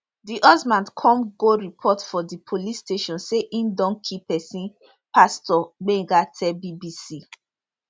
di husband come go report for di police station say im don kill pesin pastor gbenga tell bbc